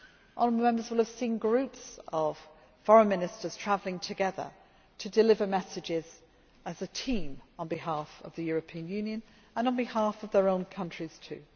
Honourable Members will have seen groups of foreign ministers travelling together to deliver messages as a team on behalf of the European Union and on behalf of their own countries